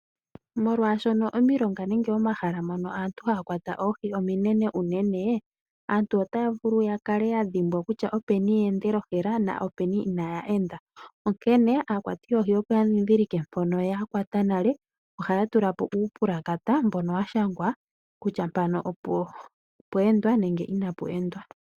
Molwaashoka omilonga nenge omahala mono aantu haya kwata oohi ominrne unene, anntu otaya vulu ku kala yadhimbwa kutya openi yeendele ohela na openi inaya enda. Onkene aakwati yoohi oya opo yandhidhilike mpono yakwata nale ohaya tulapo uupulakata mbono washangwa kutya mpano opwa kwatwa.